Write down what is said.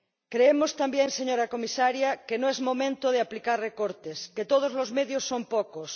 Creemos también, señora comisaria, que no es momento de aplicar recortes, que todos los medios son pocos